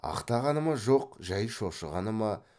ақтағаны ма жоқ жай шошығаны ма